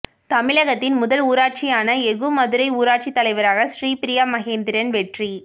தமிழகத்தின் முதல் ஊராட்சியான எகுமதுரை ஊராட்சித் தலைவராக ஸ்ரீபிரியா மகேந்திரன் வெற்றி